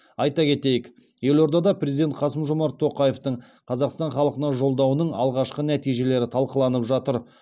айта кетейік елордада президент қасым жомарт тоқаевтың қазақстан халқына жолдауының алғашқы нәтижелері талқыланып жатыр